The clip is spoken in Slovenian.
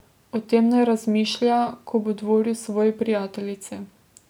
O tem naj razmišlja, ko bo dvoril svoji prijateljici!